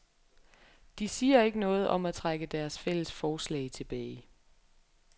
De siger ikke noget om at trække deres fælles forslag tilbage.